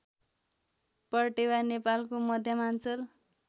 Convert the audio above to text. पर्टेवा नेपालको मध्यमाञ्चल